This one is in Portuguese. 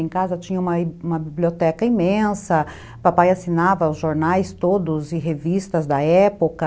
Em casa tinha uma uma biblioteca imensa, papai assinava os jornais todos e revistas da época.